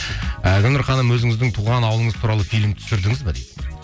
ыыы гүлнұр ханым өзіңіздің туған ауылыңыз туралы фильм түсірдіңіз бе дейді